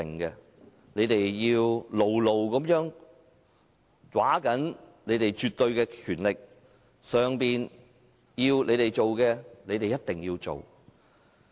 他們要牢牢抓緊他們的絕對權力，上頭要他們做的，他們一定要做。